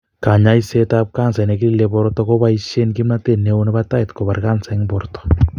Kanyoiset ab kansa nekilile borto koboishen kimnotet neo nebo tait kobara kansa en borto